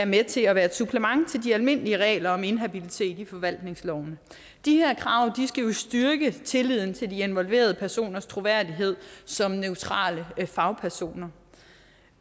med til at være et supplement til de almindelige regler om inhabilitet i forvaltningsloven de her krav skal styrke tilliden til de involverede personers troværdighed som neutrale fagpersoner